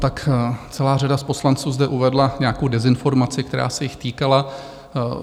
Tak celá řada z poslanců zde uvedla nějakou dezinformaci, která se jich týkala.